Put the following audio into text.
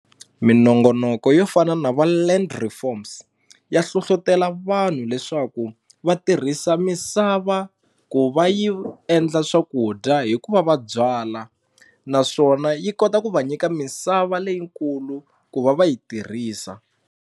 Minongonoko yo fana na va Land Reforms ya hlohlotelo vanhu leswaku va tirhisa misava ku va yi endla swakudya hikuva va byala naswona yi kota ku va nyika misava leyikulu ku va va yi tirhisa.